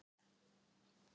"""Hann er ber, ber."""